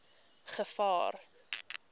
gevaar